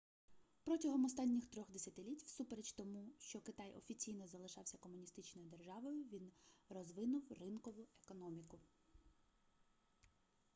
протягом останніх 3-х десятиліть всупереч тому що китай офіційно залишався комуністичною державою він розвинув ринкову економіку